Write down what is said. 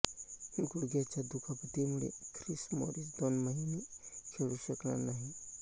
गुडघ्याच्या दुखापतीमुळे Chris Morris दोन महिने खेळू शकणार नाही